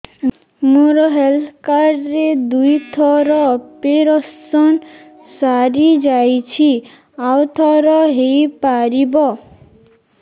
ମୋର health card ରେ ଦୁଇ ଥର ଅପେରସନ ସାରି ଯାଇଛି ଆଉ ଥର ହେଇପାରିବ